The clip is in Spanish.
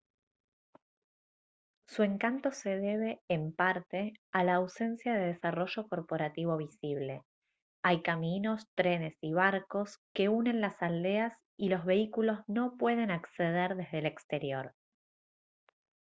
su encanto se debe en parte a la ausencia de desarrollo corporativo visible hay caminos trenes y barcos que unen las aldeas y los vehículos no pueden acceder desde el exterior